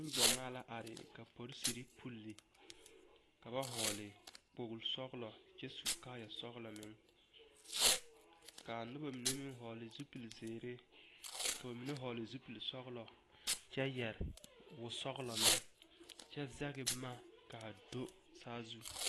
Neŋgyamaa la are ka polisiri poli ka ba vɔgle kpori sɔglɔ kyɛ su kaaya sɔglɔ meŋ ka a noba mine meŋ vɔgle zupili zeere k'o mine vɔgle zupili sɔglɔ kyɛ yɛre wɔsɔglɔ meŋ kyɛ zege boma ka a do saazu.